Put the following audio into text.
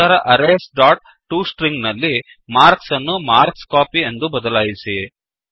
ನಂತರ arrays dot to string ನಲ್ಲಿ marks ಅನ್ನು ಮಾರ್ಕ್ಸ್ಕೋಪಿ ಎಂದು ಬದಲಾಯಿಸಿ